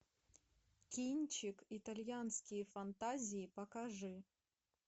кинчик итальянские фантазии покажи